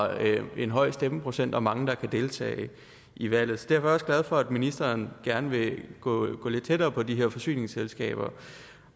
en høj stemmeprocent og mange der kan deltage i valget derfor er glad for at ministeren gerne vil gå lidt tættere på de her forsyningsselskaber